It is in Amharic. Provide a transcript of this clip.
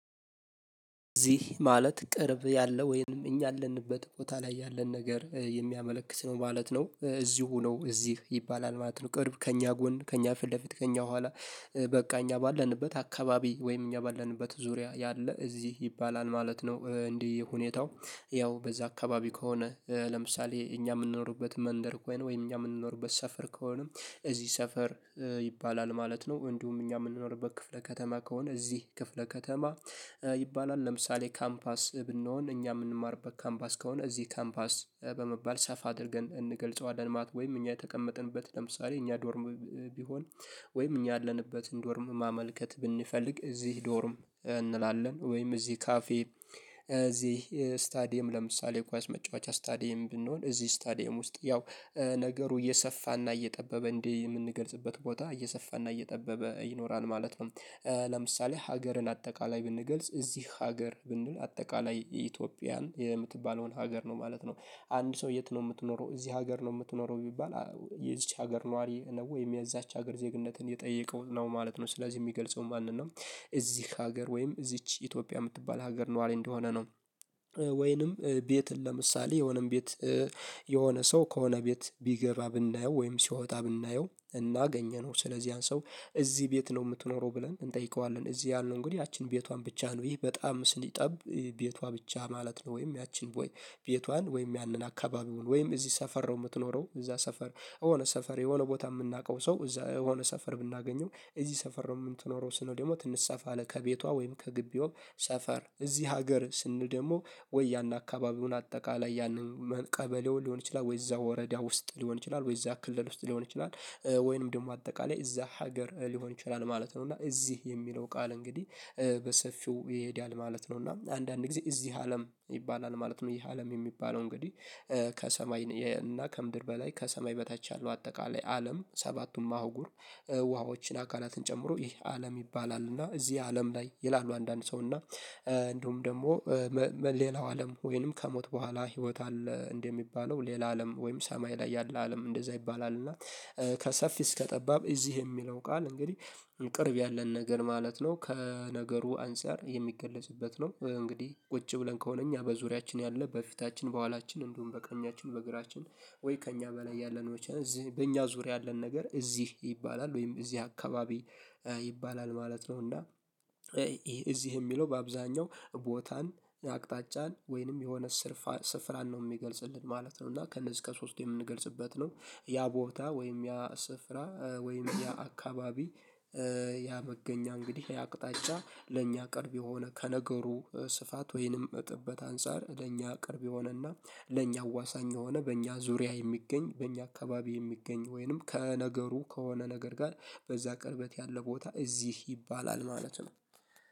እዚህ ማለት ቅርብ ያለ ወይንም እኛ ያለንበት ቦታ ላይ ያለን ነገር የሚያመለክት ነው ማለት ነው እዚሁ ነው እዚህ ይባላል ማለት ነው ቅርብ ከእኛ ጎን ከእኛ ፊት ለፊት ከእኛ በኋላ። በቃ እኛ ባለንበት አካባቢ ወይም እኛ ባለንበት ዙሪያ ያለ እዚህ ይባላል ማለት ነው። እንዲህ ሁኔታው ያው በዛ አካባቢ ከሆነ። ለምሳሌ እኛ የምንኖርበት መንደር ወይን ወይን እኛ የምንኖርበት ሰፈር ከሆነም እዚህ ሰፈር ይባላል ማለት ነው። እንዲሁም እኛ የምንኖርበት ክፍለ ከተማ ከሆነ እዚህ ክፍለ ከተማ። ይባላል ለምሳሌ ካምፓስ ብንሆን እኛ የምንማርበት ካምፓስ ከሆነ እዚህ ካምፓስ በመባል ሰፋ አድርገን እንገልፀዋለን ማለት ወይም እኛ የተቀመጥንበት ለምሳሌ እኛ ዶርም። ቢሆን ወይም እኛ ያለንበትን ዶርም ማመልከት ብንፈልግ እዚህ ዶርም እንላለን። ወይም እዚህ ካፌ እዚህ ስታዲየም ለምሳሌ የኳስ መጫወቻ ስታዲየም ብንሆን እዚህ ስታዲየም ውስጥ ያው ነገሩ እየሰፋና እየጠበበ እንዴ የምንገልጽበት ቦታ እየሰፋና እየጠበበ ይኖራል ማለት ነው። ለምሳሌ ሀገርን አጠቃላይ ብንገልፅ እዚህ ሀገር ብንል አጠቃላይ ኢትዮጵያን የምትባለውን ሀገር ነው ማለት ነው። አንድ ሰው የት ነው የምትኖረው እዚህ ሀገር ነው የምትኖረው ቢባል? የዚች ሀገር ነዋሪ ወይም የዚያች ሀገር ዜግነትን የጠየቀው ነው ማለት ነው። ስለዚህ የሚገልጸው ማንን ነው? እዚህ ሀገር ወይም እዚች ኢትዮጵያ የምትባል ሀገር ነው አለ እንደሆነ ነው። ወይንም ቤትን ለምሳሌ የሆነም ቤት የሆነ ሰው ከሆነ ቤት ቢገባ ብናየው ወይም ሲወጣ ብናየው እና አገኘነው ስለዚህ ያን ሰው እዚህ ቤት ነው የምትኖረው ብለን እንጠይቀዋለን። እዚህ ያሉን እንግዲህ ያችን ቤቷን ብቻ ነው ይህ በጣም ሲጠብ ቤቷ ብቻ ማለት ነው። ወይም ያቺን ወይ ቤቷን ወይም ያንን አካባቢውን ወይም እዚህ ሰፈር ነው የምትኖረው እዛ ሰፈር የሆነ ሰፈር የሆነ ቦታ የምናውቀው ሰው እዛ የሆነ ሰፈር ብናገኘው እዚህ ሰፈር ነው። የምንተኖረው ስለው ደግሞ ትንሽ ሰፋ አለ ከቤቷ ወይም ከግቢው ሰፈር እዚህ ሀገር ስንል ደግሞ ወይ ያን አካባቢውን አጠቃላይ ያንን ቀበሌው ሊሆን ይችላል ወይ እዛው ወረዳ ውስጥ ሊሆን ይችላል ወይ እዛው ክልል ውስጥ ሊሆን ይችላል። ወይንም ደግሞ አጠቃላይ እዛ ሀገር ሊሆን ይችላል ማለት ነው። እና እዚህ የሚለው ቃል እንግዲህ በሰፊው ይሄዳል ማለት ነው። እና አንዳንድ ጊዜ እዚህ አለም ይባላል ማለት ነው። ይህ አለም የሚባለው እንግዲህ ከሰማይ እና ከምድር በላይ ከሰማይ በታች ያለው አጠቃላይ አለም ሰባቱን ማህጉር ውሃዎችን አካላትን ጨምሮ ይሄ አለም ይባላል። እና እዚህ አለም ላይ ይላሉ አንዳንድ ሰው እና እንደውም ደግሞ ሌላው አለም ወይንም ከሞት በኋላ ህይወት አለ እንደሚባለው ሌላ አለም ወይም ሰማይ ላይ ያለ አለም እንደዛ ይባላል እና። ከሰፊ እስከ ጠባብ እዚህ የሚለው ቃል እንግዲህ ቅርብ ያለን ነገር ማለት ነው ከነገሩ አንፃር የሚገለጽበት ነው። እንግዲህ ቁጭ ብለን ከሆነ እኛ በዙሪያችን ያለ በፊታችን በኋላችን እንዲሁም በቀኛችን በግራችን ወይ ከእኛ በላይ ያለነው በእኛ ዙሪያ ያለን ነገር እዚህ ይባላል ወይም እዚህ አካባቢ ይባላል ማለት ነው። እና ይሄ እዚህ የሚለው በአብዛኛው ቦታን አቅጣጫን ወይንም የሆነ ስር ስፍራን ነው የሚገልፅልን ማለት ነው። እና ከእነሱ ከሶስቱ የምንገልጽበት ነው። ያ ቦታ ወይም ያ ስፍራ ወይም ያ አካባቢ ያ እንግዲህ ያ አቅጣጫ ለእኛ ቅርብ የሆነ ከነገሩ ስፋት ወይንም ጥበት አንፃር ለእኛ ቅርብ የሆነና ለእኛ አዋሳኝ የሆነ በእኛ ዙሪያ የሚገኝ በእኛ አካባቢ የሚገኝ ወይንም ከነገሩ ከሆነ ነገር ጋር በዛ ቅርበት ያለ ቦታ እዚህ ይባላል ማለት ነው።